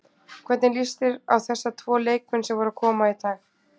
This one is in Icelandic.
Hvernig líst þér á þessa tvo leikmenn sem voru að koma í dag?